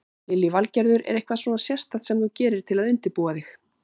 Lillý Valgerður: Er eitthvað svona sérstakt sem þú gerir til að undirbúa þig?